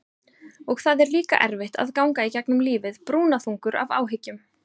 Og það er líka erfitt að ganga í gegnum lífið brúnaþungur af áhyggjum.